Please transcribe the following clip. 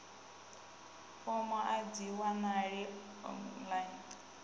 fomo a dzi wanalei online